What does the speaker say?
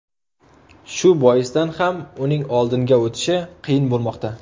Shu boisdan ham uning oldinga o‘tishi qiyin bo‘lmoqda.